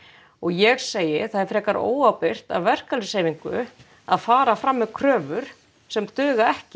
og ég segi það er frekar óábyrgt af verkalýðshreyfingu að fara fram með kröfur sem duga ekki